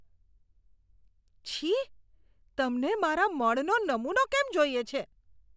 છી. તમને મારા મળનો નમૂનો કેમ જોઈએ છે?